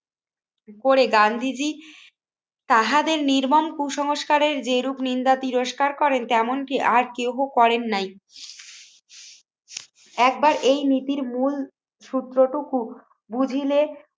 করে গান্ধীজী তাহাদের নির্মম কুসংস্কারের যেরূপ নিন্দা তিরস্কার করেন তেমনটি আর কেউ করেন নাই একবার এই নীতির মূল সূত্র টুকু বুঝিলে